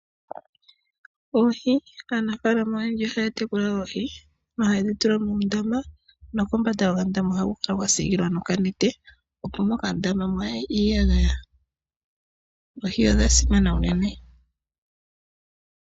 Oohi. Aanafaalama oyendji ohaya tekula oohi nohaye dhi tula muundama nokombanda yokandama ohaku kala kwa siikilwa nokanete opo mokandama mwaaye iiyagaya. Oohi odha simana unene.